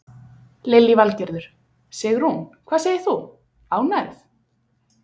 Lillý Valgerður: Sigrún, hvað segir þú, ánægð?